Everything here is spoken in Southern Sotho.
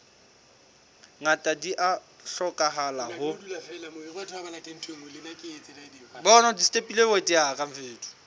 ngata di a hlokahala ho